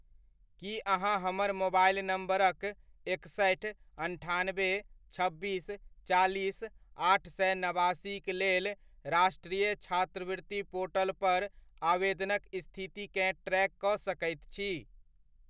की अहाँ हमर मोबाइल नम्बरक एकसठि, अन्ठानबे, छब्बीस, चालीस, आठ सए नबासीक लेल राष्ट्रिय छात्रवृति पोर्टल पर आवेदनक स्थितिकेँ ट्रैक कऽ सकैत छी ?